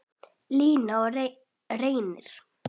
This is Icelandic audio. Líney og Reynir.